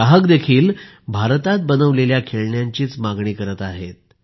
ग्राहकही भारतात बनवलेल्या खेळण्यांची मागणी करत आहेत